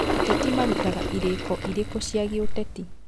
Ateti marutaga irĩko irĩkũ cia gĩũteti